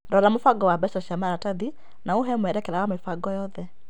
Rora mũbango wa mbeca cia maratathi na ũhee mwerekera wa mĩbango yothe .